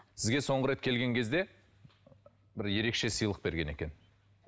сізге соңғы рет келген кезде бір ерекше сыйлық берген екен